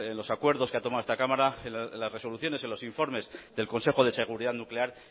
los acuerdos que ha tomado esta cámara en las resoluciones en los informes del consejo de seguridad nuclear